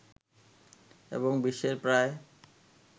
এবং বিশ্বের প্রায়